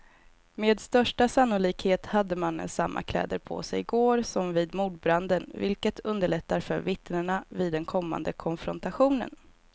Med största sannolikhet hade mannen samma kläder på sig i går som vid mordbranden, vilket underlättar för vittnena vid den kommande konfrontationen.